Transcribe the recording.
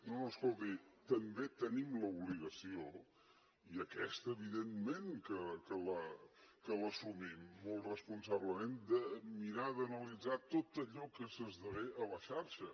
no no escolti també tenim l’obligació i aquesta evidentment que l’assumim molt responsablement de mirar d’analitzar tot allò que s’esdevé a la xarxa